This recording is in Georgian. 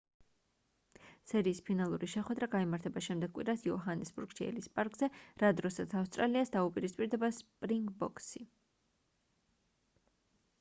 სერიის ფინალური შეხვედრა გაიმართება შემდეგ კვირას იოჰანესბურგში ელის პარკზე რა დროსაც ავსტრალიას დაუპირისპირდება სპრინგბოქსი